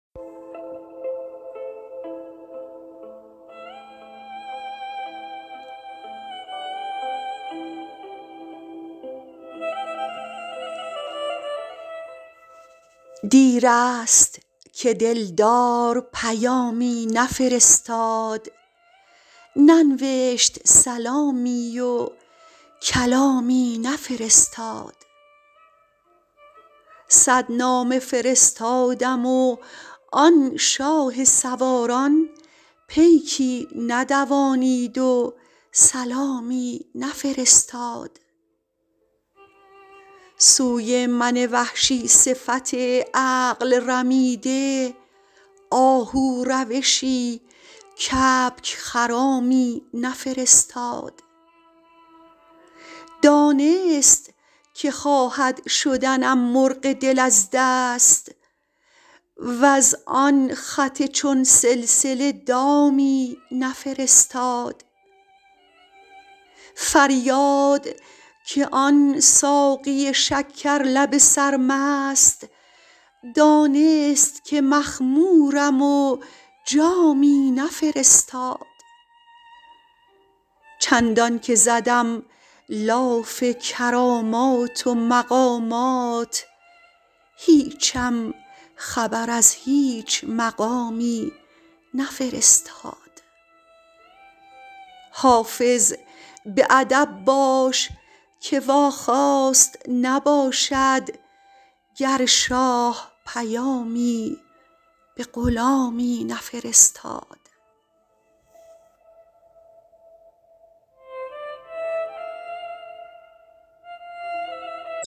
دیر است که دل دار پیامی نفرستاد ننوشت سلامی و کلامی نفرستاد صد نامه فرستادم و آن شاه سواران پیکی ندوانید و سلامی نفرستاد سوی من وحشی صفت عقل رمیده آهو روشی کبک خرامی نفرستاد دانست که خواهد شدنم مرغ دل از دست وز آن خط چون سلسله دامی نفرستاد فریاد که آن ساقی شکر لب سرمست دانست که مخمورم و جامی نفرستاد چندان که زدم لاف کرامات و مقامات هیچم خبر از هیچ مقامی نفرستاد حافظ به ادب باش که واخواست نباشد گر شاه پیامی به غلامی نفرستاد